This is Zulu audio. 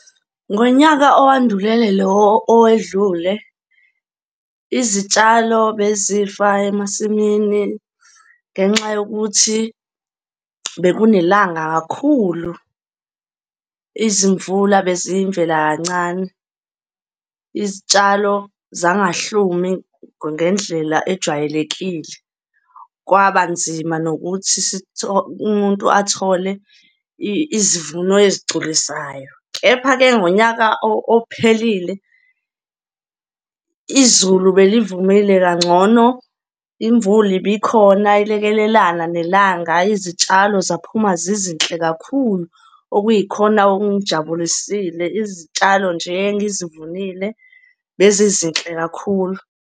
Ngonyaka owandulele lo owedlule, izitshalo bezifa emasimini ngenxa yokuthi bekunelanga kakhulu. Izimvula beziyimvela kancane, izitshalo zangahlumi ngendlela ejwayelekile. Kwaba nzima nokuthi umuntu athole izivuno ezigculisayo. Kepha-ke ngonyaka ophelile, izulu belivumile kangcono, imvula ibikhona ilekelelane nelanga, izitshalo zaphuma zizinhle kakhulu. Okuyikhona okungijabulisile, izitshalo nje engizivunile bezizinhle kakhulu.